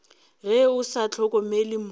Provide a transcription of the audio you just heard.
ge o sa hlokomele mo